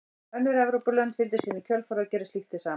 Önnur Evrópulönd fylgdu síðan í kjölfarið og gerðu slíkt hið sama.